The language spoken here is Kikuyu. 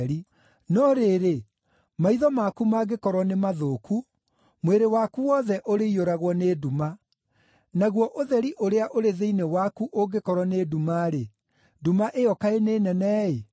No rĩrĩ, maitho maku mangĩkorwo nĩ mathũku, mwĩrĩ waku wothe ũrĩiyũragwo nĩ nduma. Naguo ũtheri ũrĩa ũrĩ thĩinĩ waku ũngĩkorwo nĩ nduma-rĩ, nduma ĩyo kaĩ nĩ nene-ĩ!